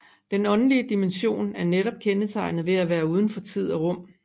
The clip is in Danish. Den åndelige dimension er netop kendetegnet ved at være uden for tid og rum